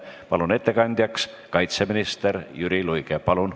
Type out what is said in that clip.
Palun ettekandjaks kaitseminister Jüri Luige!